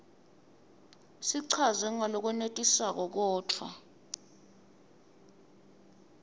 sichazwe ngalokwenetisako kodvwa